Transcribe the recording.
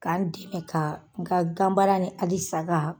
K'an dɛmɛ ka n ka gan baara ni ali saga